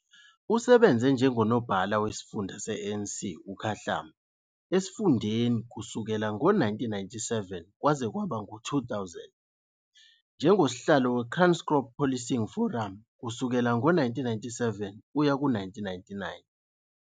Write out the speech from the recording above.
Usebenze njengonobhala wesifunda se-ANC Ukhahlamba esifundeni kusuka ngo-1997 kwaze kwaba ngu-2000 nanjengosihlalo weKranskop Policing Forum kusuka ngo-1997 kuya ku-1999.